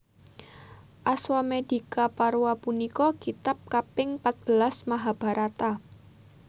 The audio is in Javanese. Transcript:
Aswamedikaparwa punika kitab kaping patbelas Mahabharata